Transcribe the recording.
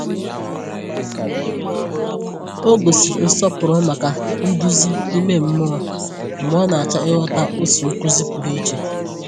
Ọ gosiri nsọpụrụ maka nduzi ime mmụọ mgbe ọ na-achọ ịghọta otu nkuzi pụrụ iche.